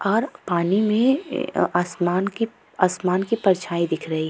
और पानी में अ आसमान की आसमान की परछाई दिख रही --